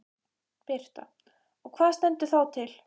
Birta: Og hvað stendur þá til?